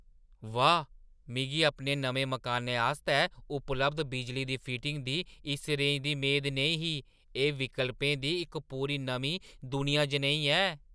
वाह्, मिगी अपने नमें मकानै आस्तै उपलब्ध बिजली दी फिटिङ दी इस रेंज दी मेद नेईं ही, एह्‌ विकल्पें दी इक पूरी नमीं दुनिया जनेही ऐ!